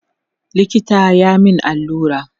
likita ya min allura